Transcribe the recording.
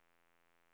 Billdal